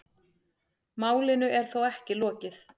Málinu er þó ekki lokið.